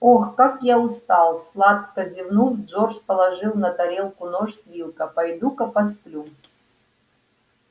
ох как я устал сладко зевнул джордж положил на тарелку нож с вилка пойду-ка посплю